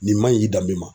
Nin man ɲi dan min ma